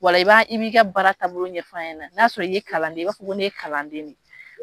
Ola i b'i ka baara taabolo ɲɛf'an ɲɛna, n'a sɔrɔ i ye kalanden i b'a fɔ ko ne ye kalanden de ye.